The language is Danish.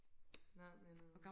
nej men øh